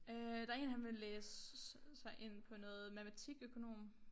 Øh der én han vil læse sig ind på noget matematikøkonom